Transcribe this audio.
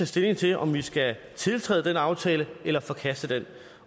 stilling til om vi skal tiltræde den aftale eller forkaste den